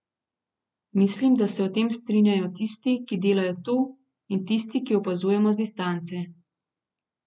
Mislim, da se o tem strinjajo tisti, ki delajo tu, in tisti, ki opazujemo z distance.